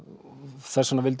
þess vegna vildi